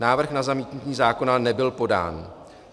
Návrh na zamítnutí zákona nebyl podán.